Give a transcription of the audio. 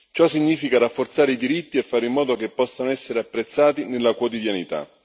Ciò significa rafforzare i diritti e fare in modo che possano essere apprezzati nella quotidianità.